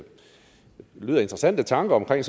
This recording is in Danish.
lyder interessante tanker omkring